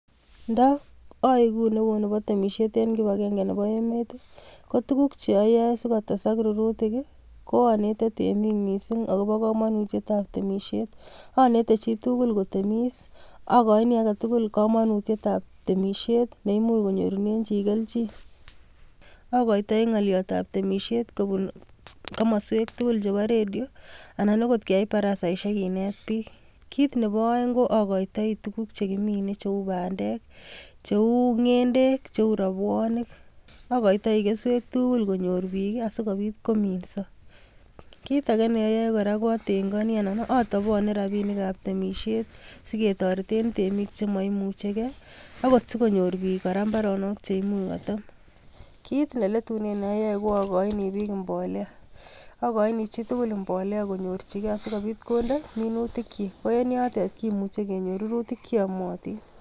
Nda aegu neo nebo temisiet en kipagenge nebo emet, ko tuguk che ayai sigotesak rurutik ii koanete temik mising agobo kamanutietab temisiet. Anete chitugul kotemis, againi agetugul kamanutietab temisiet ne imuch konyorunen chi keljin. Agoitai ngolyotab temisiet kobun komoswek tugul chebo redio anan agot keyai parasaisiek kinet biik. Kit nebo aeng ko agoitoi tugul che kimine cheu bandek, cheu ngendek, cheu rabwonik. Agoitoi keswek tugul konyor biik asigopit kominso. Kit age neayoe kora ko atengoni anan atopone rapinikab temisiet sigetoreten temik che maimuchege agot sigonyor biik kora mbaronok che imuch kotem. Kit ne letunen neayoe ko agoini biik mbolea. Agoini chi tugul mbolea konyorchige asigopit konde minutikyik. Ko en yotet kimuchi kenyor rurutik che yamatin.